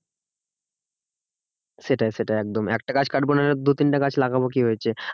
সেটাই সেটাই একদম একটা গাছ কাটবো না হয় দু তিনটে গাছ লাগাবো কি হয়েছে।